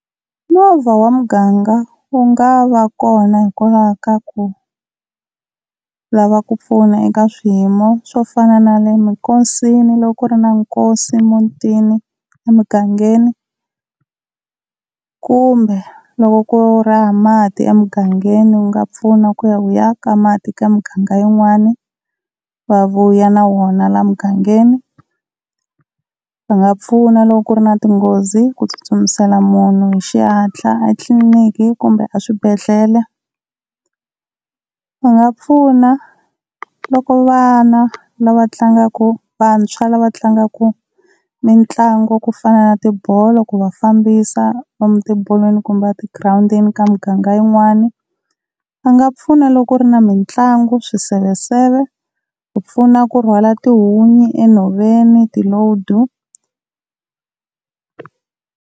Movha wa muganga wu nga va kona hikokwalaho ka ku lava ku pfuna eka swiyimo swo fana nale minkosini loko ku ri na nkosi emutini, emugangeni, kumbe loko ku ri hava mati emugangeni wu nga pfuna ku ya wu ya ka mati eka miganga yin'wana va vuya na wona la mugangeni. Va nga pfuna loko ku ri na tinghozi ku tsutsumisela munhu hi xihatla etliliniki kumbe eswibedhlele. Va nga pfuna loko vana lava tlangaku, vantshwa lava tlangaku mitlangu ku fana na tibolo ku va fambisa lomu tibolweni kumbe a tigirawundini ka miganga yin'wani. Va nga pfuna loko ku ri na mitlangu, swiseveseve, ku pfuna ku rhwala tihunyi enhoveni ti-load.